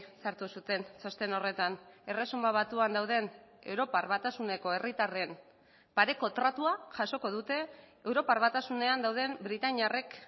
sartu zuten txosten horretan erresuma batuan dauden europar batasuneko herritarren pareko tratua jasoko dute europar batasunean dauden britainiarrek